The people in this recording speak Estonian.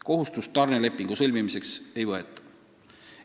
Kohustust tarnelepingu sõlmimiseks ei võeta.